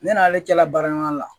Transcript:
Ne n'ale cɛla baara ɲɔgɔn la